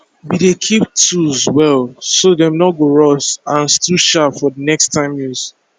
we dey keep tools well so dem no go rust and still sharp for next time use